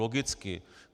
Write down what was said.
Logicky.